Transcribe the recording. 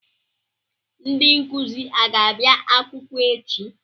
Ndị nkụzi a ga-abịa akwụkwọ echi?